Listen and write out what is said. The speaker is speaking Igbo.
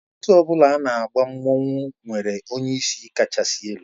Otu ọ bụla na agba mmanwụ nwere onyeisi kachasị elu